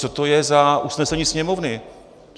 Co to je za usnesení Sněmovny?